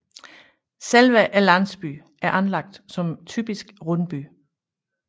Selve landsbyen er anlagt som typisk rundby